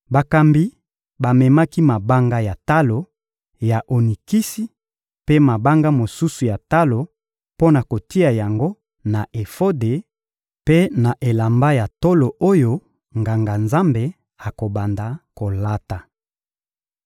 Bakambi bamemaki mabanga ya talo ya onikisi mpe mabanga mosusu ya talo mpo na kotia yango na efode mpe na elamba ya tolo oyo Nganga-Nzambe akobanda kolata.